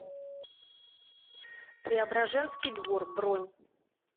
преображенский двор бронь